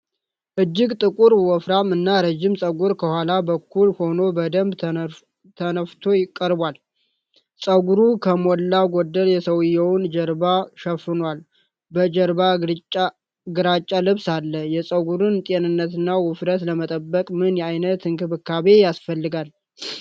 እጅግ ጥቁር፣ ወፍራም እና ረጅም ፀጉር ከኋላ በኩል ሆኖ በደንብ ተነፍቶ ቀርቧል። ፀጉሩ ከሞላ ጎደል የሰውየውን ጀርባ ሸፍኗል። በጀርባ ግራጫ ልብስ አለ። የፀጉሩን ጤንነትና ውፍረት ለመጠበቅ ምን ዓይነት እንክብካቤ ያስፈልጋል?